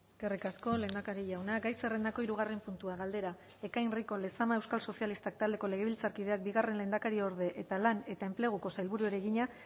eskerrik asko lehendakari jauna gai zerrendako hirugarren puntua galdera ekain rico lezama euskal sozialistak taldeko legebiltzarkideak bigarren lehendakariorde eta lan eta enpleguko sailburuari egina